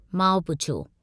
माउ पुछियो।